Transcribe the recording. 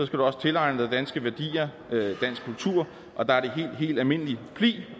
du også tilegne dig danske værdier og dansk kultur og der er det helt helt almindeligt pli